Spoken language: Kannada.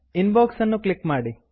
ಇನ್ಬಾಕ್ಸ್ ಅನ್ನು ಕ್ಲಿಕ್ ಮಾಡಿ